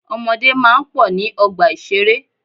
Ọmọdé máa ń pọ̀ ní ọgbà ìṣeré.